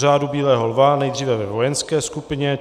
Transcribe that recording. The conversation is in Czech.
Řádu bílého lva nejdříve ve vojenské skupině.